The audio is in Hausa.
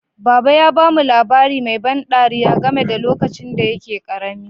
Baba ya ba mu labari mai ban ɗariya game da lokacin da yake karami.